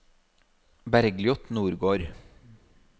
Bergliot Nordgård